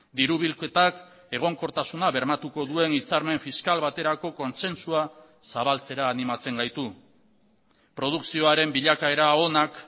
diru bilketak egonkortasuna bermatuko duen hitzarmen fiskal baterako kontsentsua zabaltzera animatzen gaitu produkzioaren bilakaera onak